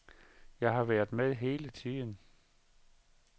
Jeg har været med hele tiden.